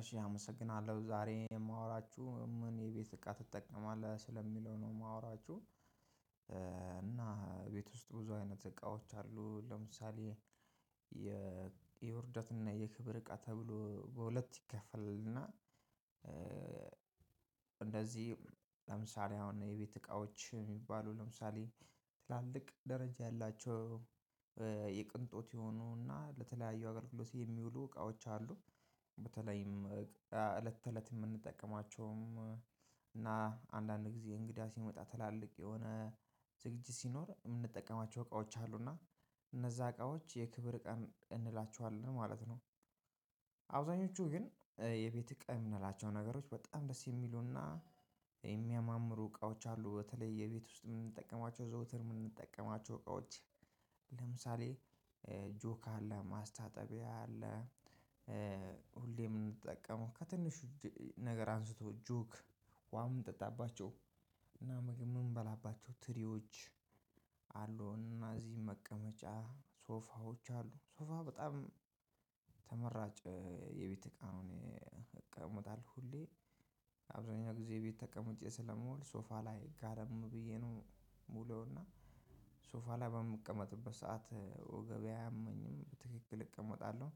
እሺ አመሰግናለሁ ዛሬ የማወራችሁ ምን የቤት እቃ ትጠቀማለህ ስለሚለው ነው የማወራችሁ። እና ቤት ውስጥ ብዙ አይነት እቃዎች አሉ። ለምሳሌ የ የውርደት እና የክብር እቃ ተብሎ በሁለት ይከፈላልና። እንደዚህ ለምሳሌ አሁን የቤት እቃዎች የሚባሉ ለምሳሌ ትላልቅ ደረጃ ያላቸው የቅንጦት የሆኑና ለተለያዩ አገልግሎት የሚውሉ እቃዎች አሉ። በተለይም እለት ተእለት የምንጠቀማቸውም እና አንዳንድ ጊዜ እንግዳ ሲመጣ ትላልቅ የሆነ ዝግጅት ሲኖር የምንጠቀማቸው እቃዎች አሉና እነዛ እቃዎች የክብር እቃ እንላቸዋለን ማለት ነው። አብዛኞቹ ግን የቤት እቃ የምንላቸው ነገሮች በጣም ደስ የሚሉና የሚያማምሩ እቃዎች አሉ። በተለይ የቤት ውስጥ የምንጠቀማቸው ዘወትር የምንጠቀማቸው እቃዎች ለምሳሌ ጆክ አለ ማስታጠቢያ አለ። ሁሌ የምንጠቀመው ከትንሽ ነገር አንስቶ ጆክ ውሃ የምንጠጣባቸው እና ምግብ የምንበላባቸው ትሪዎች አሉ እነዚህ መቀመጫ ሶፋዎች አሉ ሶፋ በጣም ተመራጭ የቤት እቃ ነው። እቀመጣለሁ ሁሌ አብዛኛው ጊዜ እቤት ተቀምጬ ስለምውል ሶፋ ላይ ጋደም ብዬ ነው የምውለውና። ሶፋ ላይ በምቀመጥበት ሰዓት ወገቤ አያመኝም ትክክል እቀመጣለሁ።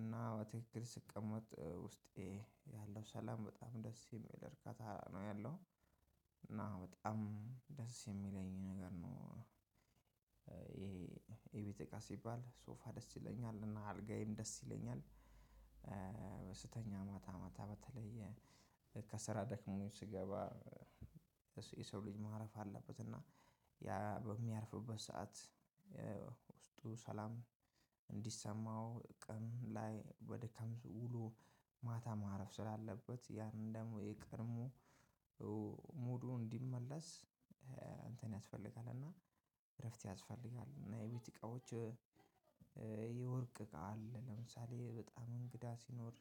እና በትክክል ስቀመጥ ውስጤ ያለው ሰላም በጣም ደስ የሚል እርካታ ነው ያለው። እና በጣም ደስ የሚለኝ ነገር ነው። የቤት እቃ ሲባል ሶፋ ደስ ይለኛል እና አልጋዬም ደስ ይለኛል። ስተኛ ማታ ማታ በተለይ ከስራ ደክሞኝ ስገባ የሰው ልጅ ማረፍ አለበት እና ያ በሚያርፍበት ሰዓት። ውስጡ ሰላም እንዲሰማው ቀን ላይ ወደ ተምዝ ውሎ ማታ ማረፍ ስላለበት ያንን ደግሞ የቀድሞ ሙሉ እንዲመለስ ያስፈልጋል። እና እረፍት ያስፈልጋል እና የቤት እቃዎች። የወርቅ እቃ አለ ለምሳሌ በጣም እንግዳ ሲኖር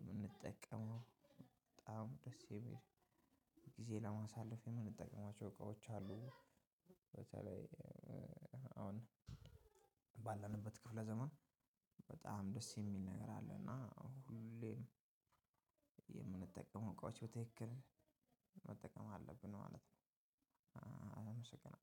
የምንጠቀመው በጣም ደስ የሚል ጊዜ ለማሳለፍ የምንጠቀማቸው እቃዎች አሉ። በተለይ አሁን ባለንበት ክፍለ ዘመን በጣም ደስ የሚል ነገር አለ። እና ሁሌም የምንጠቀመው እቃዎች በትክክል መጠቀም አለብን ማለት ነው አመሰግናለሁ